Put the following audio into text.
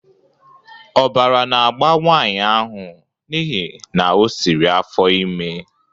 Ọbara na-agba nwanyị ahụ n'ihi na o siri afọ ime